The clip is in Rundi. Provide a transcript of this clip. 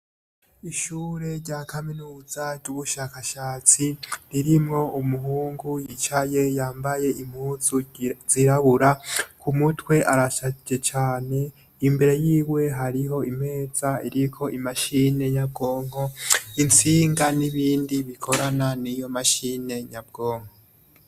Ishure rya kaminuza ry'ubushakashatsi ririmwo umuhungu yicaye yambaye impuzu zirabura. Ku mutwe arasajije cane, imbere yiwe hariho imeza iriko imashine nyabwonko, intsinga n’ibindi bikorana n’iyo mashine nyabwonko.